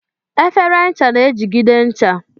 Efere ncha na-ejigide ncha.